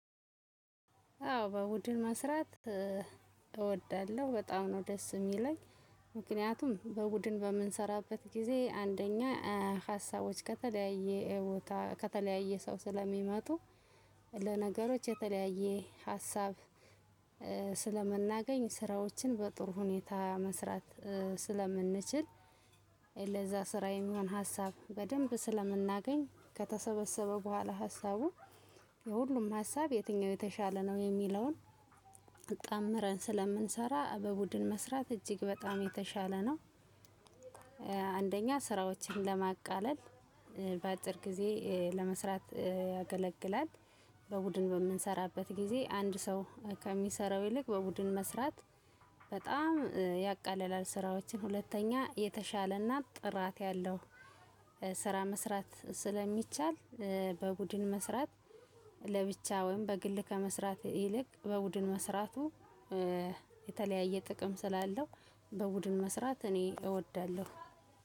አዎ በቡድን መስራት እወዳለሁ በጣም ነው ደስ የሚለኝ። ምክንያቱም በቡድን በምንሰራበት ጊዜ አንደኛ ሀሳቦች ከተለያየ ቦታ ከተለያየ ሰው ስለሚመጡ። ለነገሮች የተለያየ ሀሳብ። ስለምናገኝ ስራዎችን በጥሩ ሁኔታ መስራት ስለምንችል። ለዛ ስራዬም የሚሆን ሀሳብ በደንብ ስለምናገኝ ከተሰበሰበ በኋላ ሀሳቡ የሁሉም ሀሳብ የትኛው የተሻለ ነው የሚለውን አጣምረን ስለምንሰራ በቡድን መስራት እጅግ በጣም የተሻለ ነው። አንደኛ ስራዎችን ለማቃለል በአጭር ጊዜ ለመስራት ያገለግላል። በቡድን በምንሰራበት ጊዜ አንድ ሰው ከሚሰራው ይልቅ በቡድን መስራት በጣም ያቃልላል ስራዎችን ሁለተኛ የተሻለና ጥራት ያለው ስራ መስራት ስለሚቻል። በቡድን መስራት ለብቻ ወይም በግል ከመስራት ይልቅ በቡድን መስራቱ የተለያየ ጥቅም ስላለው በቡድን መስራት እኔ እወዳለሁ።